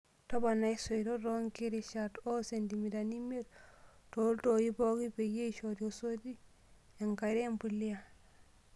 Toponai isoitok toonkirishat oo sentimitani imiet tooltoi pooki, peyie eishoru esoti enkare empulia.